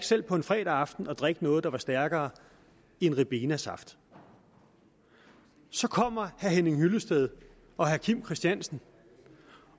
selv på en fredag aften at drikke noget der var stærkere end ribenasaft så kommer herre henning hyllested og herre kim christiansen